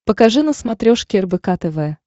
покажи на смотрешке рбк тв